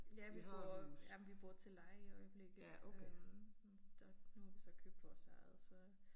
Ja vi bor ja men vi bor til leje i øjeblikket øh der nu har vi så købt vores eget så